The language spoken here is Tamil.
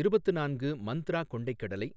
இருபத்து நான்கு மந்த்ரா கொண்டைக் கடலை,